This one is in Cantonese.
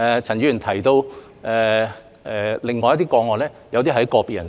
陳議員提到另外一些個案，有些涉及個別人士。